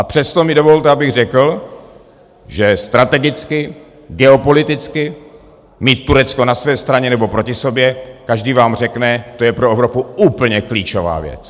A přesto mi dovolte, abych řekl, že strategicky, geopoliticky mít Turecko na své straně, nebo proti sobě - každý vám řekne, to je pro Evropu úplně klíčová věc.